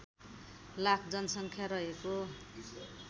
लाख जनसङ्ख्या रहेको